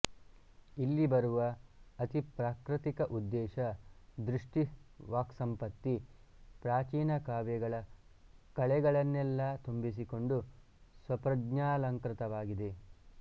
ಇಲ್ಲಿ ಬರುವ ಅತಿಪ್ರಾಕೃತಿಕ ಉದ್ದೇಶ ದೃಷ್ಟಿ ವಾಕ್ಸಂಪತ್ತಿ ಪ್ರಾಚೀನ ಕಾವ್ಯಗಳ ಕಳೆಗಳನ್ನೆಲ್ಲಾ ತುಂಬಿಸಿಕೊಂಡು ಸ್ವಪ್ರಜ್ಞಾಲಂಕೃತವಾಗಿದೆ